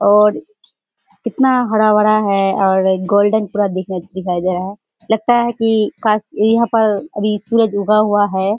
और कितना हरा-भरा है और गोल्डन पूरा दिखा दिखाई दे रहा है लगता है की काश यहाँ पर अभी सूरज ऊगा हुआ है।